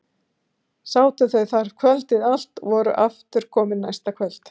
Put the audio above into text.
Sátu þau þar kvöldið allt og voru aftur komin næsta kvöld.